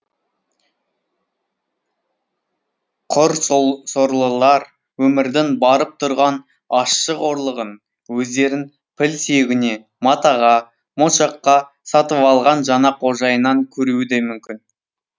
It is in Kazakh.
құр сорлылар өмірдің барып тұрған ащы қорлығын өздерін піл сүйегіне матаға моншаққа сатып алған жаңа қожайынынан көруі де мүмкін